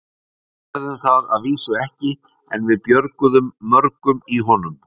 Við gerðum það að vísu ekki, en við björguðum mörgum í honum.